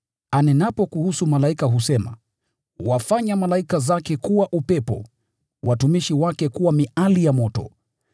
Anenapo kuhusu malaika asema, “Huwafanya malaika wake kuwa pepo, watumishi wake kuwa miali ya moto.”